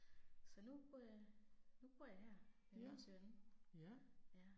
Så nu bor jeg, nu bor jeg her med min søn, ja